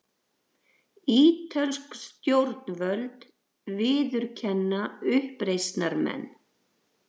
Ítölsk stjórnvöld viðurkenna uppreisnarmenn